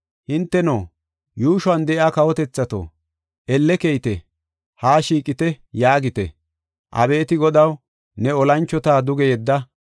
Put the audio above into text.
Hinteno, yuushuwan de7iya kawotethato, elle keyite; haa shiiqite” yaagite. Abeeti Godaw, ne olanchota duge yedda!